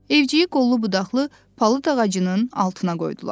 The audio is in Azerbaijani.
Evciyi qollu-budaqlı palıd ağacının altına qoydular.